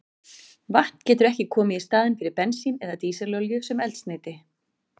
Vatn getur ekki komið í staðinn fyrir bensín eða dísilolíu sem eldsneyti.